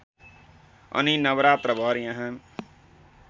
अनि नवरात्रभर यहाँ